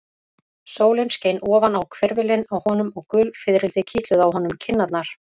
Sólin skein ofan á hvirfilinn á honum og gul fiðrildi kitluðu á honum kinnarnar.